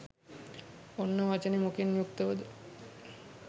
ඔන්න වචනෙ මොකෙන් යුක්තවද?